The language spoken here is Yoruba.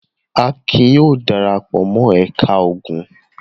Akin yóò dara pọ̀ mọ́ ẹ̀ka ogun.